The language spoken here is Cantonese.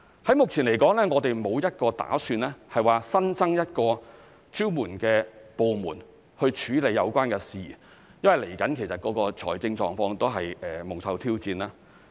在目前來說，我們沒有打算新增一個支援的部門處理有關事宜，因為未來的財政狀況亦蒙受挑戰。